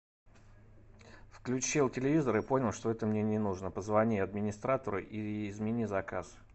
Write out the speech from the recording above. включил телевизор и понял что это мне не нужно позвони администратору и измени заказ